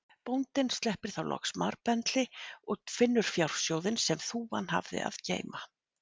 Bóndinn sleppir þá loks marbendli og finnur fjársjóðinn sem þúfan hafði að geyma.